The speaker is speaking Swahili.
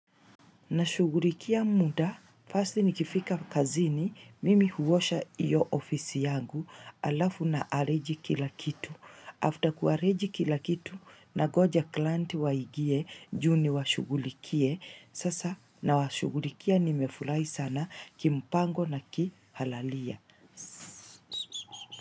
Nashughulikia muda, first nikifika kazini mimi huosha hiyo ofisi yangu alafu na arrange kila kitu. After kuarrange kila kitu nangoja client waingie juu niwashughulikie sasa nawashugulikia nimpango na ki halalia.